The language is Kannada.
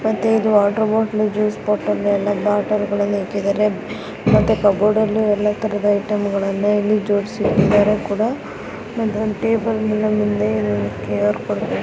ಮತ್ತೆ ವಾಟರ್ ಬಾಟಲಿ ಜ್ಯೂಸು ಬಾಟಲಿ ಎಲ್ಲ ಬಾಟಲಿ ಎಲ್ಲ ಇಟ್ಟಿಧಾರೆ ಮತ್ತೆ ಕಬೋರ್ಡ್ ಅಲ್ಲಿ ಎಲ್ಲ ತರದ ಐಟೆಮ್ಗಳು ಜೋಡ್ಸಿ ಇಟ್ಟಿದ್ದಾರೆ ಕೂಡ